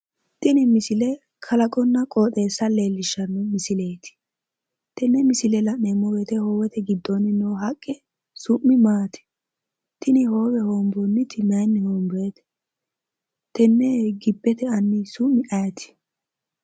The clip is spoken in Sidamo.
tini misile kalaqonna qooxeessa leellishshanno misileeti tenne misile la'neemmo wote hoowete giddoonni noo haqqe summi maati? tini hoowe hoonboonniti mayiinni hoonboonite tenne gibbete anni summi ayeeti?